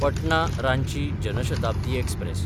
Patna-Ranchi Jan Shatabdi express